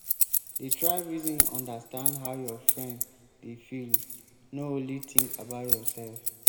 dey try reason understand how your friend dey feel no only think about yourself.